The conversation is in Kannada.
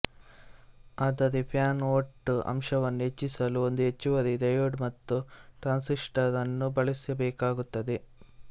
ಆದರೆಫ್ಯಾನ್ ಓಟ್ ಅಂಶವನ್ನು ಹೆಚ್ಚಿಸಲು ಒಂದು ಹೆಚ್ಚುವರಿ ಡಯೋಡ್ ಮತ್ತು ಟ್ರಾನ್ಸಿಸ್ಟರ್ ಅನ್ನು ಬಳಸಬೇಕಾಗುತ್ತದೆ